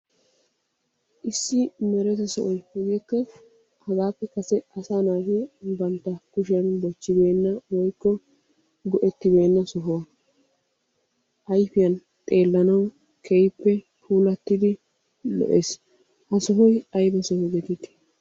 Issi mereta sohoy hegeekka hegaappe kase asaa naati banta kushiyan bochibeenna woykko go'ettibeena soho. Ayfiyan xeelanawu keehippe pulatidi lo''ees. Ha sohoy ayba soho geetettii?